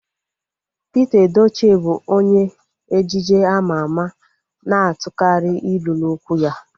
Pete Edochie bụ onye ejije ama ama na-atukari ilu n'okwu ya